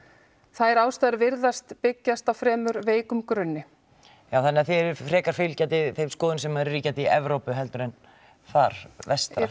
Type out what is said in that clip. þær ástæður virðast byggjast á fremur veikum grunni þannig þið eruð frekar fylgjandi þeim skoðunum sem eru ríkjandi í Evrópu heldur en þar vestra